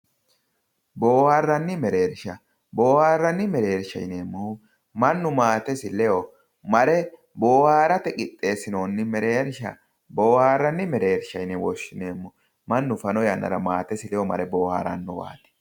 Booharranni mereersha, booharranni mereersha yaa mannu maatesi ledo mare boharate qixxeessinoonni mereersha booharranni mereersha yine woshshineemmo, mannu fano yanna maatesi ledo mare booharrannowaati.